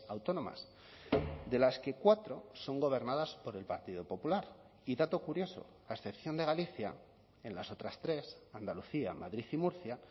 autónomas de las que cuatro son gobernadas por el partido popular y dato curioso a excepción de galicia en las otras tres andalucía madrid y murcia